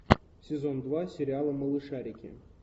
сезон два сериала малышарики